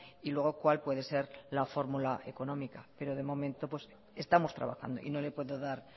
y luego cuál puede ser la fórmula económica pero de momento estamos trabajando y no le puedo dar